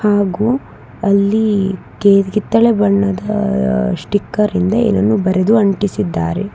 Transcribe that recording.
ಹಾಗೂ ಅಲ್ಲಿ ಗೆ ಕಿತ್ತಳೆ ಬಣ್ಣದ ಸ್ಟಿಕ್ಕರ್ ಇಂದ ಏನನ್ನೋ ಬರೆದು ಅಂಟಿಸಿದ್ದಾರೆ.